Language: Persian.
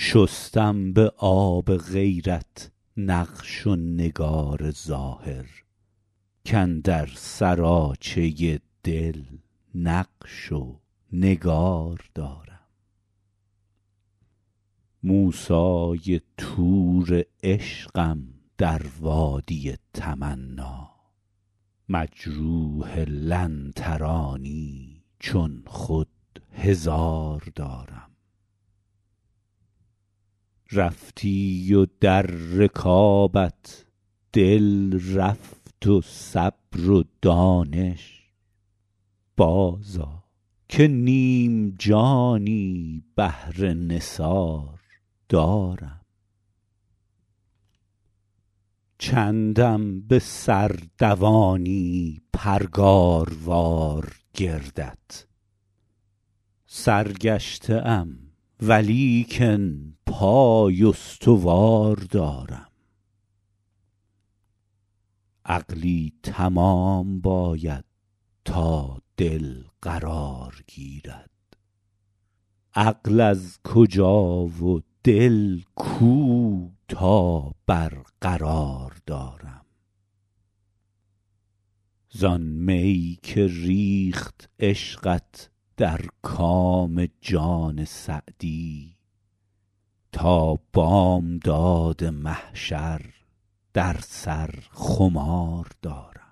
شستم به آب غیرت نقش و نگار ظاهر کاندر سراچه دل نقش و نگار دارم موسی طور عشقم در وادی تمنا مجروح لن ترانی چون خود هزار دارم رفتی و در رکابت دل رفت و صبر و دانش بازآ که نیم جانی بهر نثار دارم چندم به سر دوانی پرگاروار گردت سرگشته ام ولیکن پای استوار دارم عقلی تمام باید تا دل قرار گیرد عقل از کجا و دل کو تا برقرار دارم زآن می که ریخت عشقت در کام جان سعدی تا بامداد محشر در سر خمار دارم